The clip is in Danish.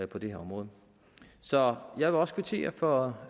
på det her område så jeg vil også kvittere for